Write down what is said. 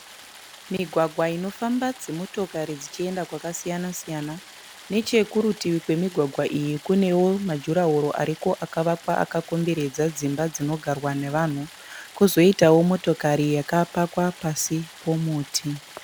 Migwagwa inofamba dzimotokari dzichienda kwakasiyana siyana nechekurutivi kwemugwagwa iyi kunewo majurahoro ariko akawakwa yakakomberedza dzimba dzinogarwa nevanhu kozoitawo motokari yakapakwa pasi pomuti